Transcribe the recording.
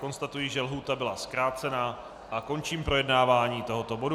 Konstatuji, že lhůta byla zkrácena, a končím projednávání tohoto bodu.